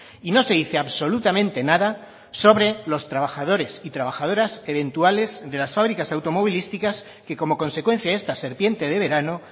y no se dice absolutamente nada sobre los trabajadores y trabajadoras eventuales de las fábricas automovilísticas que como consecuencia de esta serpiente de verano